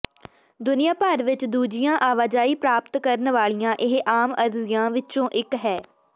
ਦੁਨੀਆ ਭਰ ਵਿੱਚ ਦੂਜੀਆਂ ਆਵਾਜਾਈ ਪ੍ਰਾਪਤ ਕਰਨ ਵਾਲੀਆਂ ਇਹ ਆਮ ਅਰਜ਼ੀਆਂ ਵਿੱਚੋਂ ਇੱਕ ਹੈ